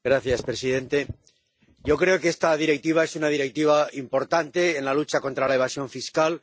Señor presidente, yo creo que esta Directiva es una directiva importante en la lucha contra la evasión fiscal.